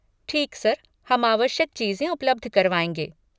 ठीक सर, हम आवश्यक चीज़ें उपलब्ध करवाएँगे।